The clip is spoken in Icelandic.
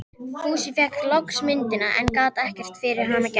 Fúsi fékk loks myndina, en gat ekkert fyrir hana gert.